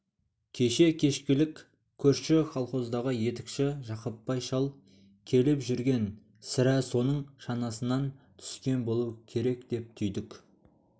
кеше кешкілік көрші колхоздағы етікші жақыпбай шал келіп жүрген сірә соның шанасынан түскен болу керек деп түйдік